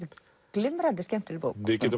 glimrandi skemmtileg bók við getum